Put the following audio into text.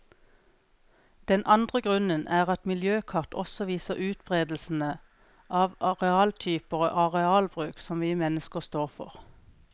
Den andre grunnen er at miljøkart også viser utberedelsen av arealtyper og arealbruk som vi mennesker står for.